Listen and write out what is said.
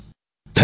ધન્યવાદ